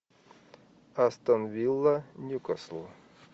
астон вилла ньюкасл